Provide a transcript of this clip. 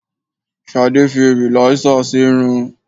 Ṣadé fi rìlásèr sì irun.